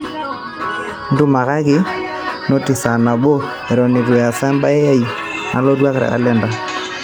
ntumakaki noti saa nabo eton eitu easa embae aai nalotu te kalenda